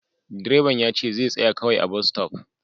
Direban yace zai tsaya kawai a'bas stop.